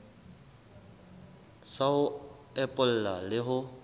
sa ho epolla le ho